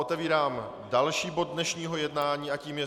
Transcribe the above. Otevírám další bod dnešního jednání a tím je